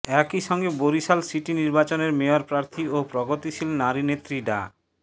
একই সঙ্গে বরিশাল সিটি নির্বাচনের মেয়র প্রার্থী ও প্রগতিশীল নারীনেত্রী ডা